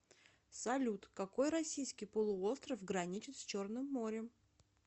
салют какой российский полуостров граничит с черным морем